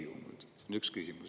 See on üks küsimus.